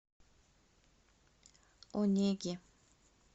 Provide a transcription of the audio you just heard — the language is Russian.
онеги